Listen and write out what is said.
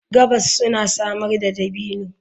Gabas suna samar da dabino.